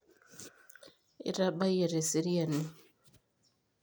itabayie teseriani